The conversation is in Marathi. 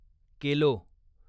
केलो